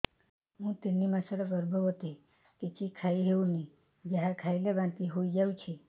ମୁଁ ତିନି ମାସର ଗର୍ଭବତୀ କିଛି ଖାଇ ହେଉନି ଯାହା ଖାଇଲେ ବାନ୍ତି ହୋଇଯାଉଛି